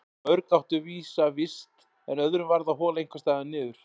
Mörg áttu vísa vist en öðrum varð að hola einhvers staðar niður.